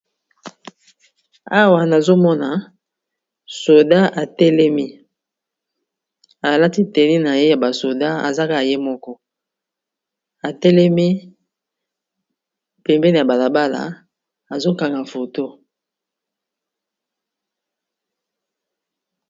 Awa nazomona soda atelemi, alati elamba na ye ya ba soda, aza kaka ye moko, atelemi pembeni ya balabala azokanga foto.